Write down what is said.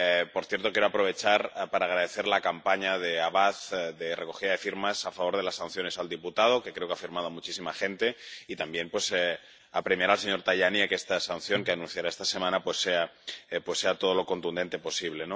Por cierto, quiero aprovechar para agradecer la campaña de Avaaz de recogida de firmas a favor de las sanciones al diputado —que creo que ha firmado muchísima gente— y también, pues, apremiar al señor Tajani a que esta sanción, que anunciará esta semana, sea todo lo contundente posible.